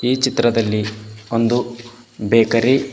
ಈ ಚಿತ್ರದಲ್ಲಿ ಒಂದು ಬೇಕರಿ --